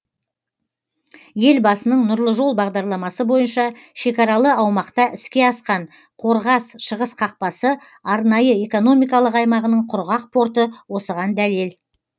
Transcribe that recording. елбасының нұрлы жол бағдарламасы бойынша шекаралы аумақта іске асқан қорғас шығыс қақпасы арнайы экономикалық аймағының құрғақ порты осыған дәлел